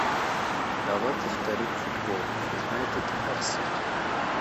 давай повторим футбол юнайтед арсенал